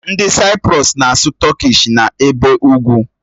Ndị Saịprọs na-asụ Tọkish, bi n'ebe ugwu.